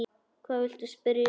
Hvað viltu spyrja um?